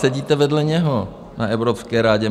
Sedíte vedle něho na Evropské radě.